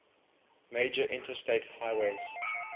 major interstate highways